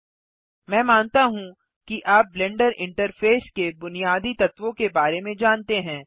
Iमैं मानता हूँ कि आप ब्लेंडर इंटरफेस के बुनियादी तत्वों के बारे में जानते हैं